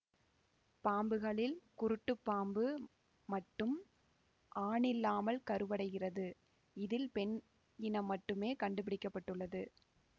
பாம்புகளில் குருட்டுப்பாம்பு மட்டும் ஆணில்லாமல் கருவடைகிறது இதில் பெண் இனம் மட்டுமே கண்டுப்பிடிக்கப்பட்டுள்ளது